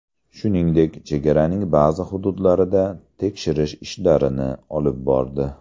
Shuningdek, chegaraning ba’zi hududlarida tekshirish ishlarini olib bordi.